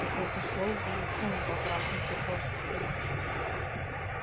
такой пошёл потрахался просто с кем-то